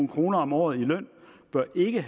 kroner om året i løn bør ikke